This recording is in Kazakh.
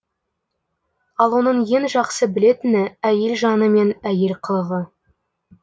ал оның ең жақсы білетіні әйел жаны мен әйел қылығы